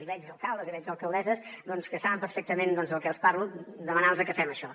i veig alcaldes i veig alcaldesses doncs que saben perfectament del que els parlo demanar los que fem això